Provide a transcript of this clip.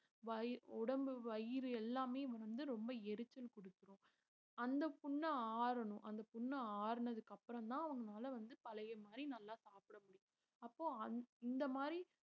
வயி~ உடம்பு வயிறு எல்லாமே வந்து ரொம்ப எரிச்சல் கொடுக்கும் அந்த புண்ணு ஆறணும் அந்த புண்ணு ஆறுனதுக்கு அப்புறம்தான் அவங்களால வந்து பழைய மாதிரி நல்லா சாப்பிட முடியும் அப்போ அந்~ இந்த மாதிரி